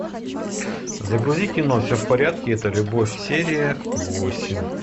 загрузи кино все в порядке это любовь серия восемь